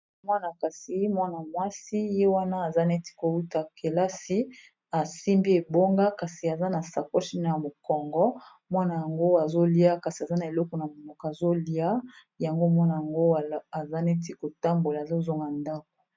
Mwa na kasi mwana-mwasi ye wana aza neti kouta kelasi asimbi ebonga, kasi aza na sakochine ya mokongo mwana yango azolia kasi aza na eloko na minoka azolia yango mwana yango aza neti kotambola azozonga ndako.